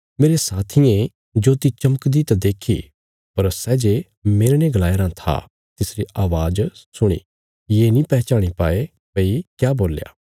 मेरे साथियें ज्योति चमकदी त देखी पर सै जे मेरने गलाया राँ था तिसरी अवाज़ सुणी पर सै ये नीं पैहचाणी पाये भई क्या बोल्या